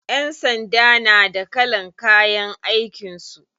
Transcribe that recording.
Ƴan sanda na da kalan kayan aikin su.